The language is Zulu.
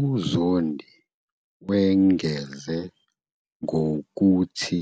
UZondi wengeze ngokuthi